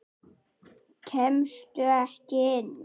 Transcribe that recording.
Kemstu ekki inn?